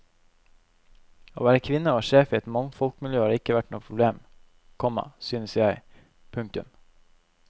Å være kvinne og sjef i et mannfolkmiljø har ikke vært noe problem, komma synes jeg. punktum